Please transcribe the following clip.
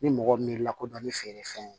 Ni mɔgɔ miiri lakodɔn ni feerefɛn ye